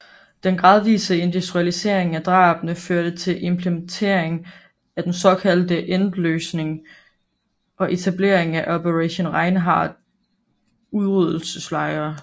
Den gradvise industrialisering af drabene førte til implementering af den såkaldte Endlösung og etablering af Operation Reinhard udryddelseslejre